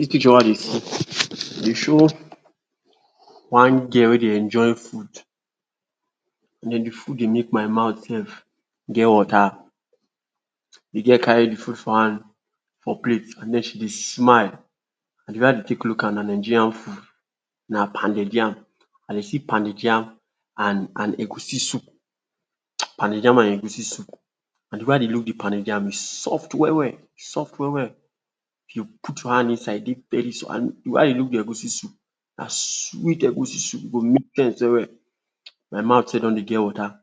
Dis picture wey I dey see um dey show one girl wey dey enjoy food. And then the food dey make my mouth sef get water. The girl carry the food for hand for plate and then she dey smile. And the way I dey take look am na Nigerian food - na pounded yam. I dey see pounded yam and and egusi soup um pounded yam and egusi soup. And the way I dey look the pounded yam, e soft well-well e soft well-well. If you put your hand inside, e dey very soft and the way I dey look the egusi soup, na sweet egusi soup, e go make sense well-well. My mouth sef don dey get water.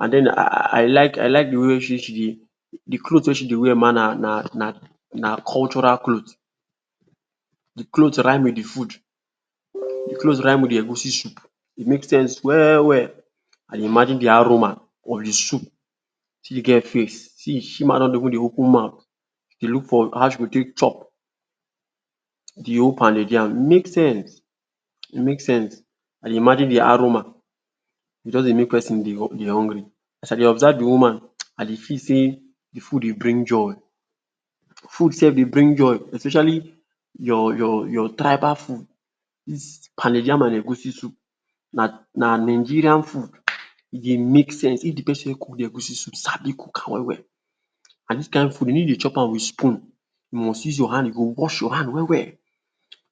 And then um I like I like the way wey she she dey the cloth wey she dey wear mah na na na na cultural cloth. The cloth rhyme with the food. The cloths rhyme with the egusi soup, e make sense well-well. I dey imagine the aroma of the soup. See the girl face, see, she mah don dey open mouth dey look for how she go take chop the whole pounded yam. E make sense e make sense. I dey imagine the aroma! E just dey make pesin dey um dey hungry. As I dey observe the woman um, I dey feel sey the food dey bring joy. Food sef dey bring joy especially your your your tribal food. Dis pounded yam and egusi soup na na Nigerian food. um E dey make sense if the pesin wey cook the egusi soup sabi cook am well-well. And this kind food de no dey chop am with spoon, you must use your hand. You go wash your hand well-well,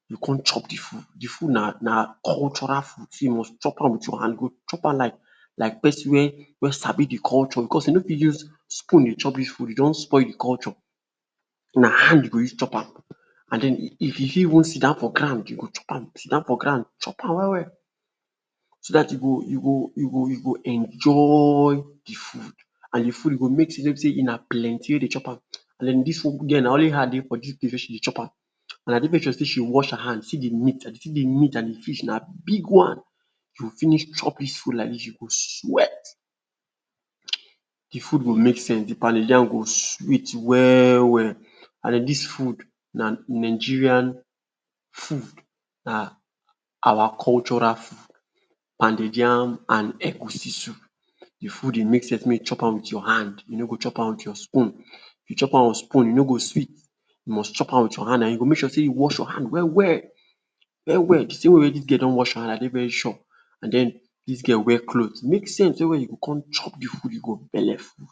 you go come chop the food. The food na na na cultural food so you must chop am with your hand. You go chop am like like pesin wey wey sabi the culture because you no fit use spoon dey chop dis food, you don spoil the culture. Na hand you go use chop am. And then um if you um even sidan for ground you go chop am, sidan for ground chop am well-well so that you go you go you go you go enjoyyy the food. And the food go make sense wey be sey um plenty wey dey chop am. And then dis um girl na only her dey for dis place wey she dey chop am. And I dey um sure sey she wash her hand. See the meat! I dey see the meat and the fish - na big one! You go finish chop dis food like dis you go sweat um. The food go make sense, the pounded yam go sweet well-well. And then dis food na Nigerian food, na awa cultural um Pounded yam and egusi soup, the food dey make sense make you chop am with your hand, you no go chop am with your spoon. If you chop am with spoon e no go sweet. You must chop am with your hand and you go make sure sey you wash your hand well-well well-well. See the way dis girl don wash her hand, I dey very sure. And then, dis girl wear cloth, e make sense well-well. You go come chop the food you go belleful.